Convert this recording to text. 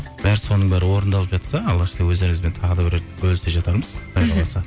бәрі соның бәрі орындалып жатса алла жазса өздеріңізбен тағы да бір рет бөлісе жатармыз қаласа